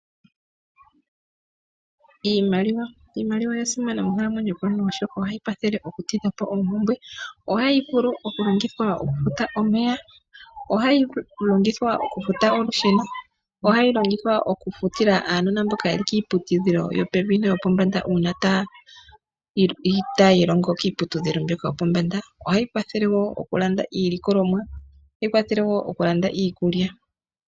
Iimaliwa! Iimaliwa oya simana monkalamwenyo yaantu oshoka ohayi kwathele okutidha po oompumbwe, ohayi vulu okulongithwa okufuta omeya, ohayi vulu okulongithwa okufuta olusheno, ohayi longithwa okufutila aanona mboka yeli kiiputudhilo yopevi noyopombanda uuna taya ilongo kiiputudhilo mbyoka yopombanda, ohayi kwathele woo okulanda iilikolomwa, ohayi kwathele woo okulanda iikulya.